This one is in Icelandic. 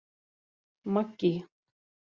Maggý